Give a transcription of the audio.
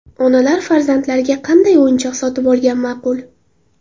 Onalar farzandlariga qanday o‘yinchoq sotib olgan ma’qul?.